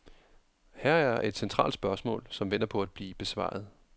Her er et centralt spørgsmål, som venter på at blive besvaret.